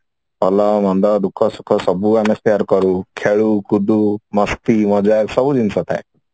ଭଲ ମନ୍ଦ ଦୁଖ ସୁଖ ସବୁ ଆମେ share କରୁ ଖେଳୁ କୁଦୁ ମସ୍ତି ମଜାକ ସବୁ ଜିନିଷ ଥାଏ